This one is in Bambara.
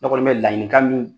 Ne kɔni bɛ laɲinikan min